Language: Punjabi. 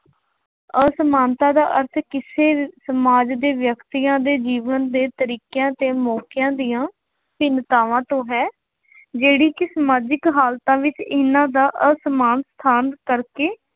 ਅਸਮਾਨਤਾ ਦਾ ਅਰਥ ਕਿਸੇ ਅਹ ਸਮਾਜ ਦੇ ਵਿਅਕਤੀਆਂ ਦੇ ਜੀਵਨ ਦੇ ਤਰੀਕਿਆਂ ਤੇ ਮੌਕਿਆਂ ਦੀਆਂ ਭਿੰਨਤਾਵਾਂ ਤੋਂ ਹੈ, ਜਿਹੜੀ ਕਿ ਸਮਾਜਿਕ ਹਾਲਤਾਂ ਵਿੱਚ ਇਹਨਾ ਦਾ ਅਰਥ ਸਮਾਨਤਾ ਕਰਕੇ